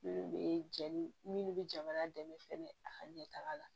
Minnu bɛ jɛnni minnu bɛ jamana dɛmɛ fɛnɛ a ka ɲɛtaga la